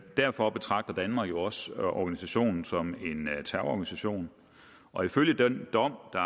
derfor betragter danmark jo også organisationen som en terrororganisation og ifølge den dom der